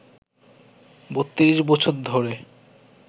৩২ বছর ধরে